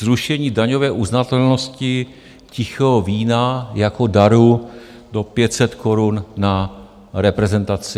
Zrušení daňové uznatelnosti tichého vína jako daru do 500 Kč na reprezentaci.